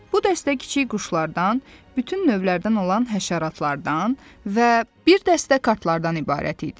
Bu dəstə kiçik quşlardan, bütün növlərdən olan həşəratlardan və bir dəstə kartlardan ibarət idi.